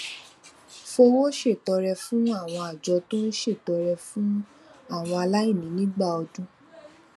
fi owó ṣètọrẹ fún àwọn àjọ tó ń ṣètọrẹ fún àwọn aláìní nígbà ọdún